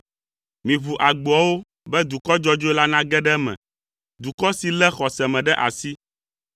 Miʋu agboawo be dukɔ dzɔdzɔe la nage ɖe eme; dukɔ si lé xɔse me ɖe asi.